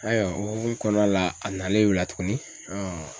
Ayiwa o hokumu kɔnɔna la a nalen o la tugunni